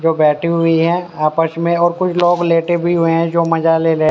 जो बैठी हुई है आपस में और कुछ लोग लेटे भी हुए हैं जो मजा ले रहे --